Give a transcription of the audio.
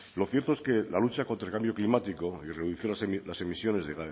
lo cierto es que la lucha contra el cambio climático y de reducir las emisiones de